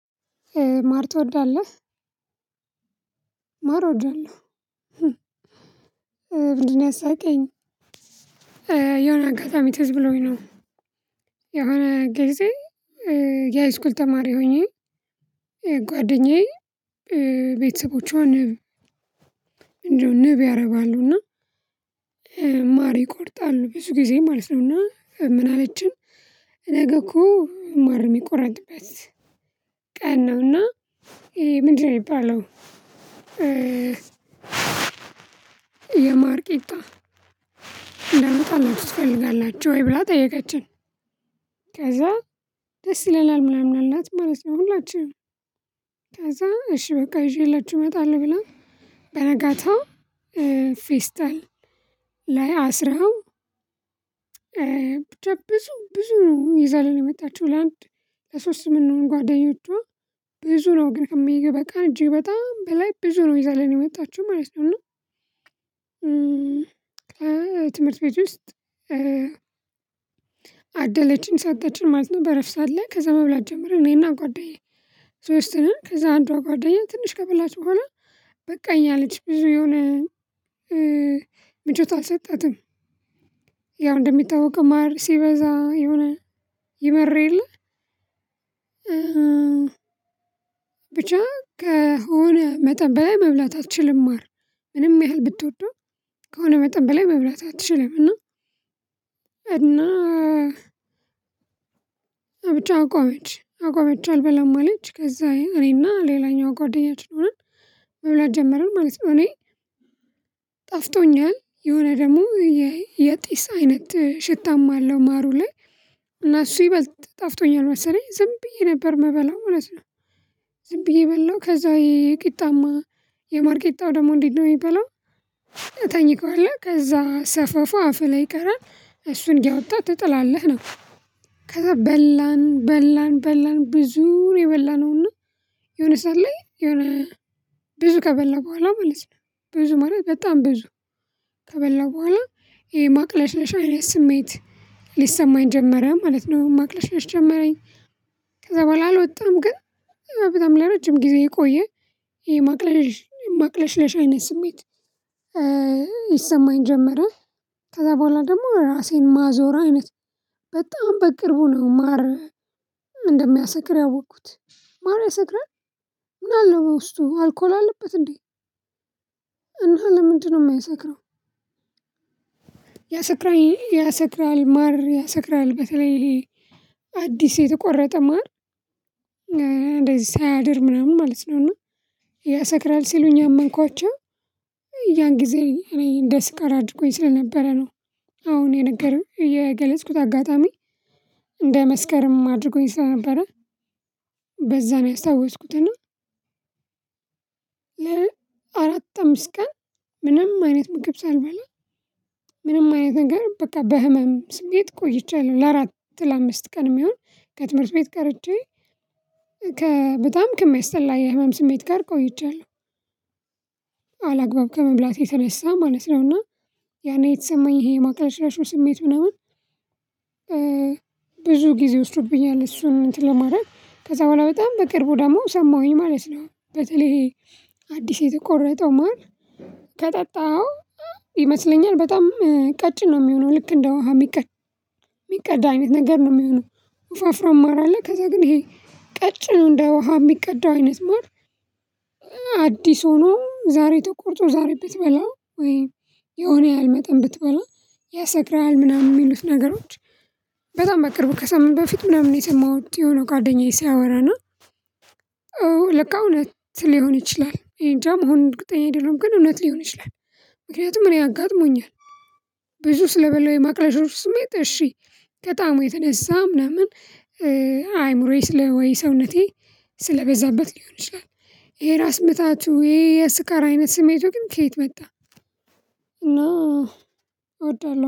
ማር ትወዳለህ? ማር እወዳለሁ። ምንድን ነው ያሳቀኝ የሆነ አጋጣሚ ትዝ ብሎኝ ነው። የሆነ ጊዜ የሃይስኩል ተማሪ ሆኜ ጓደኛዬ ቤተሰቦቿን ንብ ያረባሉና። ማር ይቆርጣሉ ብዙ ጊዜ ማለት ነውና ምን አለችን? ነገ እኮ ማር የሚቆረጥበት ቀን ነውና ምንድን ነው ሚባለው? የማር ቂጣ እንዳመጣላችሁ ትፈልጋላችሁ ወይ ብላ ጠየቀችን። ከዚያ ደስ ይለናል ምናምን አላት ማለት ነው። ሁላችንም ከዚያ እሽ በቃ ይዤላችሁ እመጣለሁ ብላ። በነጋታው ፌስታል ላይ አስራው። ብዙ ነው ይዛልን የመጣችው ለአንድ ለሶስት የምንሆን ጓደኞቿ ብዙ ነው ግን ከሚገባ በቃ እጅግ በጣም በላይ ብዙ ነው ይዛልን የመጣችው ማለት ነው። እና ከትምህርት ቤት ውስጥ አደለችን ሰጠችን ማለት ነው። በረፍት ሰዓት ላይ ከዚያ መብላት ጀምረን እኔና ጓደኛዬ ሶስት ነን ከዚያ አንዷ ጓደኛዬ ትንሽ ከበላች በኋለሁ በቃኝ አለች ብዙ የሆነ ምቾት አልሰጣትም። ያው እንደሚታወቀው ማር ሲበዛ የሆነ ይመር የለ። ብቻ ከሆነ መጠን በላይ መብላት አትችልም ማር። ምንም ያህል ብትወደው ከሆነ መጠን በላይ መብላት አትችልም። እና ብቻ አቆመች አቆመች አልበላም አለች ከዚያ እኔና ሌላኛዋ ጓደኛችን ሆነን መብላት ጀመርን ማለት ነው። እኔ ጣፍጦኛል የሆነ ደግሞ የጢስ አይነት ሽታም አለው ማሩ ላይ እና እሱ ይበልጥ ጣፍጦኛል መሰለኝ ዝም ብዬ ነበር ምበላው ማለት ነው። ዝም ብዬ በላሁ ከዚያ የማር ቂጣው ደግሞ እንዴት ነው የሚበላው? ታኝከዋለህ ከዚያ ሰፋፉ አፍህ ላይ ይቀራል እሱን እያወጣህ ትጥላለህ ነው። ከዚያ በላን በላን በላን ብዙ ነው የበላነውና የሆነ ሰዓት ላይ የሆነ ብዙ ከበላ በኋላ ማለት ነው። ብዙ ማለት በጣም ብዙ ከበላን በኋላ የማቅለሽለሽ አይነት ስሜት ይሰማኝ ጀመረ ማለት ነው። ማቅለሽለሽ ጀመረኝ። ከዚያ በኋላ አልወጣም ግን በጣም ለረጅም ጊዜ ቆየ። የማቅለሽለሽ አይነት ስሜት ይሰማኝ ጀመረ። ከዚያ በኋላ ደግሞ ራሴን ማዞር አይነት በጣም በቅርቡ ነው ማር እንደሚያሰክር ያወቅሁት ማር ያሰክራል። ምን አለው በውስጡ አልኮል አለበት እንዴ? እና ለምንድነው የሚያሰክረው? ያሰክራል ያሰክራል ማር ያሰክራል በተለይ አዲስ የተቆረጠ ማር። እንደዚህ ሳያድር ምናምን ማለት ነው እና ያሰክራል ሲሉኝ አመንኳቸው። ያን ጊዜ እኔ እንደ ስካር አድርጎኝ ስለነበረ ነው። አሁን የገለጽኩት አጋጣሚ። እንደ መስከርም አድርጎኝ ስለነበረ በዚያ ነው ያስታወስኩት። እና አራት አምስት ቀን ምንም አይነት ምግብ ሳልበላ ምንም አይነት ነገር በቃ በህመም ስሜት ቆይቻለሁ ለአራት ለአምስት ቀን የሚሆን ከትምህርት ቤት ቀርቼ ከ በጣም ከሚያስጠላ የህመም ስሜት ጋር ቆይቻለሁ። አላግባብ ከመብላት የተነሳ ማለት ነውና ያኔ የተሰማኝ ይሄ የማቅለሽለሹ ስሜት ምናምን ብዙ ጊዜ ወስዶብኛል እሱን እንትን ለማድረግ ከዚያ በኋላ በጣም በቅርቡ ደግሞ ሰማሁኝ ማለት ነው። በተለይ አዲስ የተቆረጠው ማር ከጠጣኸው ይመስለኛል በጣም ቀጭን ነው የሚሆነው ልክ እንደ ውሃ ሚቀዳ አይነት ነገር ነው የሚሆነው ወፋፍራም ማር አለ ከዚያ ግን ይሄ ቀጭን እንደ ውሃ የሚቀድ አይነት ማር። አዲስ ሆኖ ዛሬ ተቆርጦ ዛሬ ብትበላው ወይም የሆነ ያህል መጠን ብትበላ ያሰከርሀል ምናምን የሚሉት ነገሮች። በጣም በቅርቡ ከሳምንት በፊት ምናምን የሰማሁት የሆነ ጓደኛዬ ሲያወራ እና አዎ ለካ እውነት ሊሆን ይችላል እኔ እንጃ መሆኑን እርግጠኛ አይደለም ግን እውነት ሊሆን ይችላል ምክንያቱም እኔ አጋጥሞኛል። ብዙ ስለበላው የማቅለሽለሽ ስሜት እሺ ከጣዕሙ የተነሳ ምናምን። አእምሮዬ ወይስ ሰውነቴ ስለበዛበት ሊሆን ይችላል። የራስ ምታቱ ይሄ የስካር አይነት ስሜቱ ግን ከየት መጣ? እና እወዳለሁ